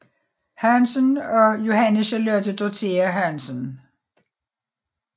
Hansen og Johanne Charlotte Dorthea Hansen